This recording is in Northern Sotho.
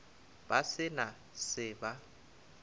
ba se na se ba